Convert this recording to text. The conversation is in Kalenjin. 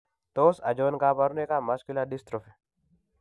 Tos achon kabarunaik ab Muscular dystrophy?